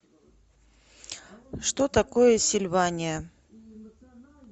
что такое сильвания